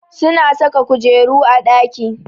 Suna saka kujeru a ɗaki